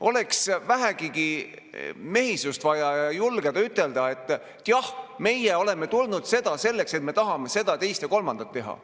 Oleks vaja vähegi mehisust ja julgust ütelda, et jah, meie oleme tulnud siia selleks, et me tahame seda, teist või kolmandat teha.